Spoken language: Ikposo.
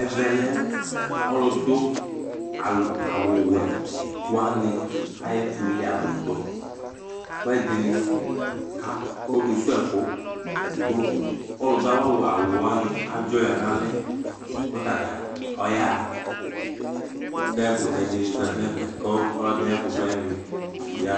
Ɛvɛ lɛ ɔlʋdʋ al awʋwɛ wanɩ ayʋ ɛfʋlialʋdʋ kʋ ɛdɩnɩ kak ɔkesuwu ɛfʋ dʋ ɔlʋdʋ awʋ awʋwɛ wanɩ adzɔ ya nʋ alɛ kʋ ɔtanɩ ɔyaɣa kʋ ɛkʋtɛ dɩnɩ zati nʋ ɛfɛ kʋ ɔlɔdɩnɩ ayʋ ɛfʋvlɛnɩ ya